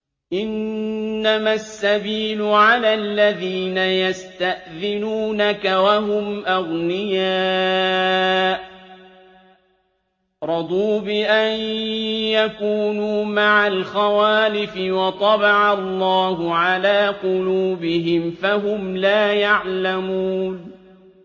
۞ إِنَّمَا السَّبِيلُ عَلَى الَّذِينَ يَسْتَأْذِنُونَكَ وَهُمْ أَغْنِيَاءُ ۚ رَضُوا بِأَن يَكُونُوا مَعَ الْخَوَالِفِ وَطَبَعَ اللَّهُ عَلَىٰ قُلُوبِهِمْ فَهُمْ لَا يَعْلَمُونَ